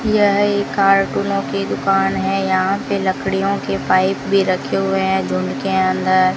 यह एक कार्टूनों की दुकान है यहां पे लकड़ियों के पाइप भी रखे हुए हैं जो उनके अंदर --